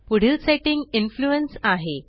पुढील setting influence आहे